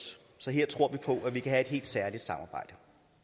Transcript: så her tror vi på at vi kan have et helt særligt samarbejde